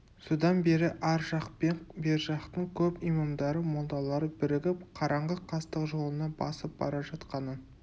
содан бері ар жақ пен бер жақтың көп имамдары молдалары бірігіп қараңғы қастық жолына басып бара жатқанын